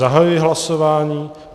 Zahajuji hlasování.